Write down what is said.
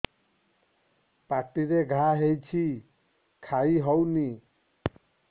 ପାଟିରେ ଘା ହେଇଛି ଖାଇ ହଉନି